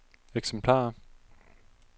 eksemplarer